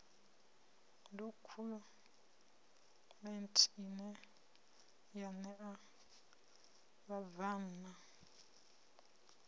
dokhumenthe ine ya ṋea vhabvann